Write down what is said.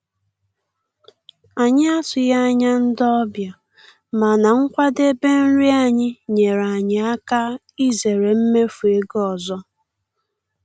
Anyị atụghị anya ndị ọbịa, mana nkwadebe nri anyị nyeere anyị aka izere mmefu ego ọzọ.